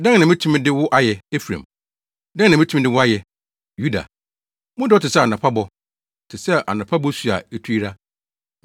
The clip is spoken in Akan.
“Dɛn na metumi de wo ayɛ, Efraim? Dɛn na metumi de wo ayɛ, Yuda? Mo dɔ te sɛ anɔpa bɔ, ɛte sɛ anɔpa bosu a etu yera.